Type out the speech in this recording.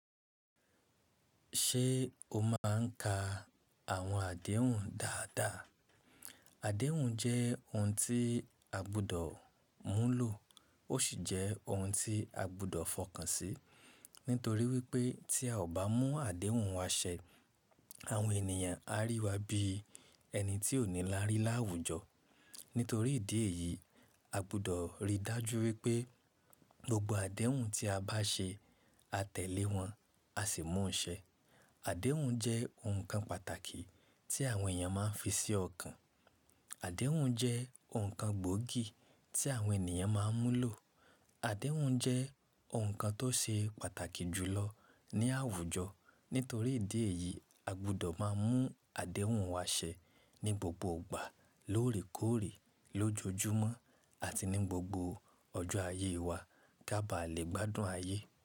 Ṣé o máa ń ka àwọn àdéhùn dáadáa? Àdéhùn jẹ́ ohun tí a gbúdọ̀ múlò, ó sì jẹ́ ohun tí a gbúdọ̀ fọkàn sí. Nítorí wípé tí a ò bá mú àdéhùn wa ṣẹ, àwọn ènìyàn á rí wa bí ẹni tí ò nílárí láwùjọ. Nítorí ìdí èyí, a gbúdọ̀ ríi dájú wípé gbogbo àdéhùn tí a bá ṣe, a tẹ̀lé wọn, a sì mú ṣẹ. Àdéhùn jẹ́ ohun kan pàtàkì tí àwọn èèyàn máa ń fi sí ọ̀kan. Àdéhùn jẹ́ ohun kan gbóògì tí àwọn ènìyàn máa ń múlò. Àdéhùn jẹ́ ohun kan tó ṣe pàtàkì jùlọ ní àwùjọ. Nítorí ìdí èyí, a gbúdọ̀ máa mú àdéhùn wa ṣẹ ní gbogbo ìgbà, lóòrèkóòrè, lójoojúmọ́ àti ní gbogbo ọjọ́ ayé wa ká ba à lè gbádùn ayé.